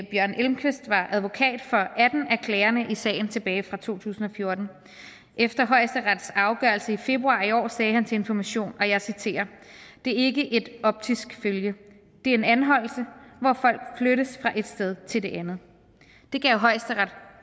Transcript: bjørn elmquist var advokat for atten af klagerne i sagen tilbage fra to tusind og fjorten efter højesterets afgørelse i februar i år sagde han til information og jeg citerer det er ikke et optisk følge det er en anholdelse hvor folk flyttes fra et sted til det andet det gav højesteret